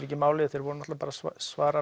ekki máli því þeir voru bara að svara